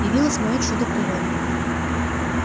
явилось моё чудо природы